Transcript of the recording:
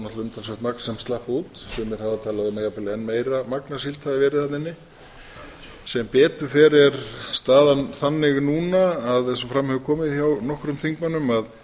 náttúrlega umtalsvert magn sem slapp út sumir hafa talað að jafnvel enn meira magn af síld hafi verið þarna inni sem betur fer staðan þannig núna eins og fram hefur komið hjá nokkrum þingmönnum að